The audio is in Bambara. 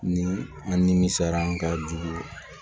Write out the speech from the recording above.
Ni an nimisara an ka juru